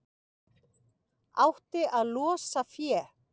Átti að losa fé